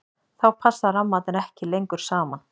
þá passa rammarnir ekki lengur saman